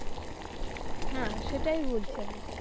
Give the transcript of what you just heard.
হ্যা সেটাই বলছি আমি.